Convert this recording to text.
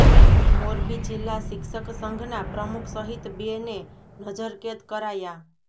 મોરબી જિલ્લા શિક્ષક સંઘના પ્રમુખ સહિત બે ને નજરકેદ કરાયા